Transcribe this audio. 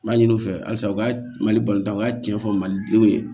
N b'a ɲini u fɛ halisa u ka mali tan u ka cɛn fɔ malidenw ye